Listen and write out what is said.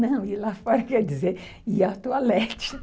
Não, ir lá fora quer dizer ir ao toalete,